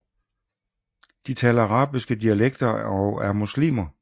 De taler arabiske dialekter og er muslimer